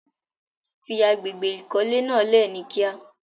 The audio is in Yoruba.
Fí àgbégbé ikọ̀lẹ̀ náà lé ní kí à.